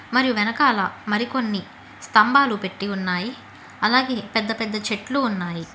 మరియు వెనకాల మరికొన్ని స్తంభాలు పెట్టి ఉన్నాయి అలాగే పెద్ద పెద్ద చెట్లు ఉన్నాయి.